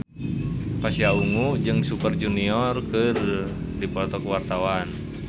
Pasha Ungu jeung Super Junior keur dipoto ku wartawan